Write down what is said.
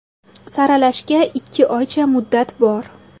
Saralashga ikki oycha muddat bor.